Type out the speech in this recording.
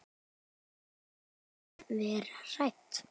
Ættum við að vera hrædd?